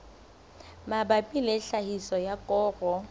mabapi le tlhahiso ya koro